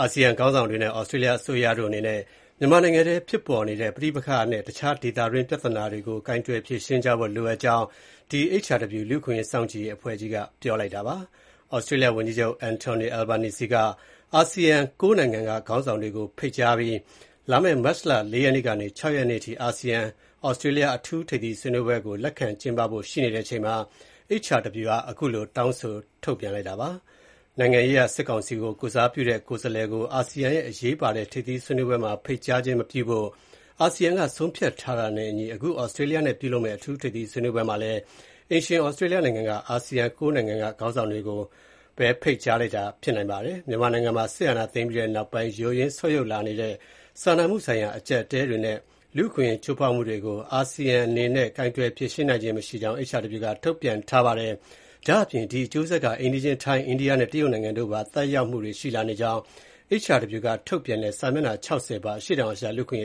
အာဆီယံခေါင်းဆောင်တွေနဲ့ ဩစတြေးလျအစိုးရတို့အနေနဲ့ မြန်မာနိုင်ငံအတွင်းဖြစ်ပေါ်နေတဲ့ ပဋိပက္ခနဲ့ တခြား ဒေသတွင်း ပြဿနာတွေကို ကိုင်တွယ် ဖြေရှင်းကြဖို့ လိုအပ်ကြောင်း HRW လူ့အခွင့်အရေးစောင့်ကြည့်ရေးအဖွဲ့က ပြောကြားလိုက်ပါတယ်။ ဩစတြေးလျဝန်ကြီးချုပ် Anthony Albanese က အာဆီယံ ၉ နိုင်ငံက ခေါင်းဆောင်တွေကို ဖိတ်ကြားပြီး မတ်လ ၄ ရက်ကနေ ၆ ရက်နေ့အထိ အာဆီယံ-ဩစတြေးလျ အထူး ထိပ်သီးစည်းဝေးပွဲကို လက်ခံကျင်းပဖို့ ရှိနေတဲ့အချိန်မှာ HRW က အခုလို တောင်းဆိုချက် ထုတ်ပြန်လိုက်တာပါ။ နိုင်ငံရေးအရ စစ်ကောင်စီကို ကိုယ်စားပြုတဲ့ ကိုယ်စားလှယ်ကို အာဆီယံရဲ့ အရေးပါတဲ့ ထိပ်သီး စည်းဝေးပွဲတွေမှာ ဖိတ်ကြားခြင်း မပြုဖို့ အာဆီယံက ဆုံးဖြတ်ထားတာနဲ့အညီ အခု ဩစတြေးလျနဲ့ ပြုလုပ်မယ့် အထူး ထိပ်သီး စည်းဝေးပွဲမှာလည်း အိမ်ရှင် ဩစတြေးလျက အာဆီယံ ၉ နိုင်ငံက ခေါင်းဆောင်တွေကိုဘဲ ဖိတ်ကြားတာ ဖြစ်နိုင်ပါတယ်။ မြန်မာနိုင်ငံမှာ စစ်အာဏာသိမ်းပြီးတဲ့နောက်ပိုင်း ယိုယွင်း ဆုတ်ယုတ်လာနေတဲ့ စာနာမှုဆိုင်ရာ အကျပ်အတည်းတွေနဲ့ လူ့အခွင့်အရေး ချိုးဖောက်မှုတွေကို အာဆီယံအနေနဲ့ ကိုင်တွယ် ဖြေရှင်းခြင်းမရှိကြောင်း၊ အဲဒီရဲ့ အကျိုးဆက်တွေဟာ အိမ်နီးချင်း ထိုင်း၊ အိန္ဒိယနဲ့ တရုတ်နိုင်ငံတို့ကိုပါ သက်ရောက်မှုတွေ ရှိလာနေကြာင်း HRW က ထုတ်ပြန်တဲ့ စာမျက်နှာ ၆၀ ပါ အရှေ့တောင်အာရှ လူ့အခွင့်